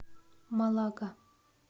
малага